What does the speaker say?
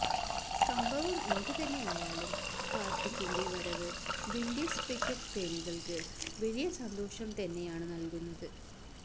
സംഭവം എന്ത് തന്നെയായാലും കാർത്തിക്കിന്റെ വരവ് വിൻഡീസ് ക്രിക്കറ്റ് പ്രേമികൾക്ക് വലിയ സന്തോഷം തന്നെയാണ് നൽകുന്നത്